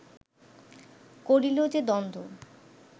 করিল যে দ্বন্দ্ব